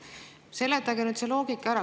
Seletage nüüd see loogika ära.